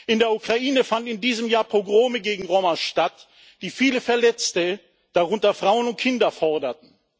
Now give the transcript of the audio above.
In der Ukraine fanden in diesem Jahr Pogrome gegen Roma statt, die viele Verletzte, darunter Frauen und Kinder, forderten.